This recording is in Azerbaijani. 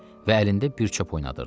Və əlində bir çöp oynadırdı.